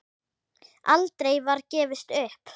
Aldrei var gefist upp.